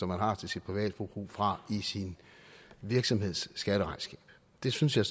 man har til sit private forbrug fra i sin virksomheds skatteregnskab det synes jeg